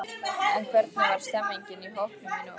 En hvernig var stemningin í hópnum í nótt?